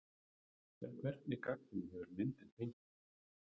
En hvernig gagnrýni hefur myndin fengið?